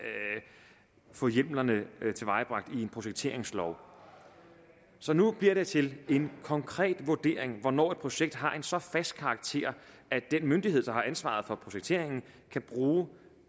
få hjemlerne tilvejebragt i en projekteringslov så nu bliver det til en konkret vurdering af hvornår et projekt har så fast en karakter at den myndighed der har ansvaret for projekteringen kan bruge